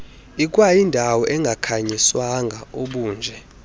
ikwayindawo engakhanyiswanga obunje